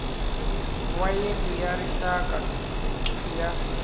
wa yindlu ya rixaka ya